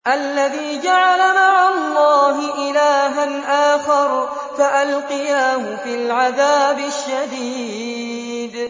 الَّذِي جَعَلَ مَعَ اللَّهِ إِلَٰهًا آخَرَ فَأَلْقِيَاهُ فِي الْعَذَابِ الشَّدِيدِ